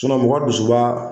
mɔgɔ dusuba